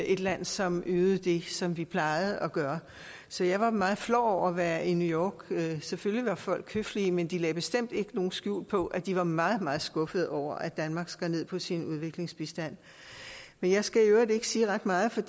et land som ydede det som vi plejede at gøre så jeg var meget flov over at være i new york selvfølgelig var folk høflige men de lagde bestemt ikke skjul på at de var meget meget skuffede over at danmark skar ned på sin udviklingsbistand men jeg skal i øvrigt ikke sige ret meget for